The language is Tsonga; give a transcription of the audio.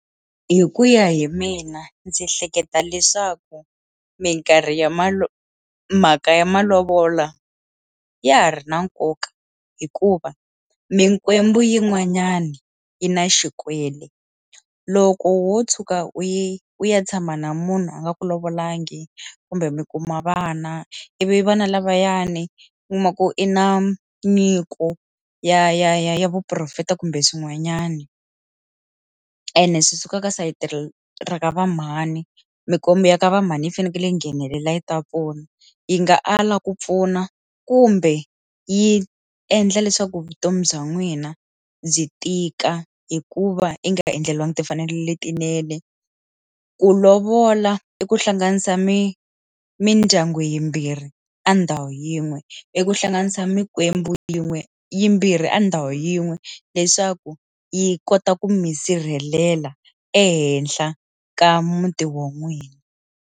Hi ku ya hi mina ndzi hleketa leswaku minkarhi ya malo mhaka ya malovolo ya ha ri na nkoka hikuva mikwembu yin'wanyani yi na xikwele loko wo tshuka u yi u ya tshama na munhu a nga ku lovolanga kumbe mi kuma vana ivi vana lavayani kuma ku i na nyiko ya ya ya ya vuporofeta kumbe swin'wanyani ene swi suka eka sayiti ra rakava mhani mkombe ya ka va mhani yi fanekele yi nghenelela yi ta vona yi nga ala ku pfuna kumbe yi endla leswaku vutomi bya n'wina byi tika hikuva i nga endleriwangi timfanelo letinene ku lovola i ku hlanganisa mi mindyangu yimbirhi a ndhawu yin'we i ku hlanganisa mikwembu yin'we yimbirhi a ndhawu yin'we leswaku yi kota ku mi sirhelela ehenhla ka muti wa n'wina.